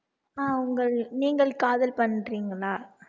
ஆஹ் உங்கள் நீங்கள் காதல் பண்றீங்களா